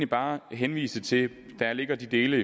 bare henvise til det der ligger i de dele